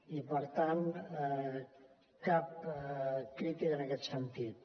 i per tant cap crítica en aquest sentit